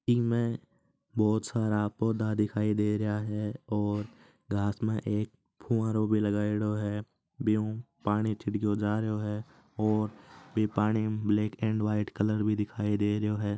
ईमें बहुत सारा पोधा दिखाई दे रहा है और घास में फुवारा भी लगयेड़ो है बी हु पानी छिड़केडो जारो है और पानी ब्लैक और व्हाइट कलर भी दिखय दे रहा है।